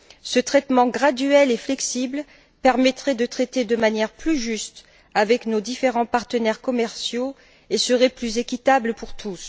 Ce traitement graduel et flexible permettrait de traiter de manière plus juste avec nos différents partenaires commerciaux et serait plus équitable pour tous.